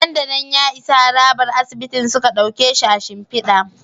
Nan da nan ya isa harabar asibitin suka dauke shi a shimfida